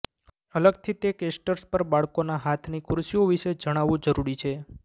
અલગથી તે કેસ્ટર્સ પર બાળકોના હાથની ખુરશીઓ વિશે જણાવવું જરૂરી છે